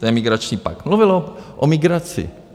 To je migrační pakt. Mluvil o migraci.